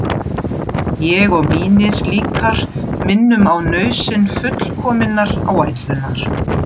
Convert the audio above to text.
Ég og mínir líkar minnum á nauðsyn fullkominnar áætlunar.